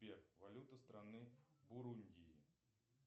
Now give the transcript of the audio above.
сбер валюта страны бурундии